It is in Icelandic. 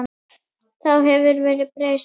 Þá hefur verðið breyst.